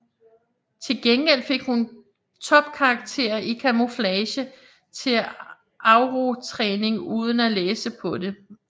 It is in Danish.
Til gengæld fik hun topkarakterer i Camouflage til Aurortræningen uden at læse på det